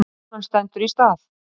Krónan stendur í stað